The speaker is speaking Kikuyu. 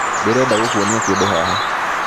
Ndĩrenda gũkuonia kĩndũ haha